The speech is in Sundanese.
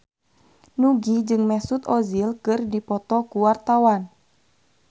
Nugie jeung Mesut Ozil keur dipoto ku wartawan